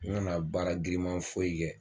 N kana baara girinman foyi kɛ